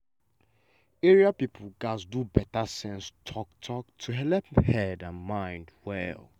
area people gats do better sense talk-talk to helep sense and mind well.